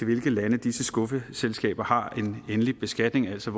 hvilke lande disse skuffeselskaber har en endelig beskatning altså